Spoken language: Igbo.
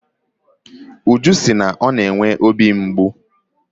Uju si na ọ na-enwe obi mgbu.